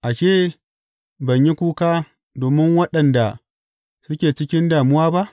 Ashe ban yi kuka domin waɗanda suke cikin damuwa ba?